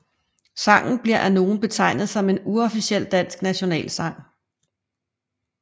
Sangen bliver af nogle betegnet som en uofficiel dansk nationalsang